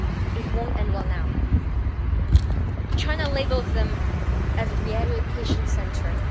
it won't end well now. China labels them as re education centres'.